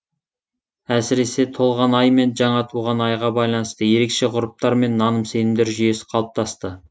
әсіресе толған ай мен жаңа туған айға байланысты ерекше ғұрыптар мен наным сенімдер жүйесі қалыптасты